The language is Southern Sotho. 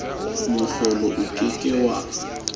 mohlolo o ke ke wa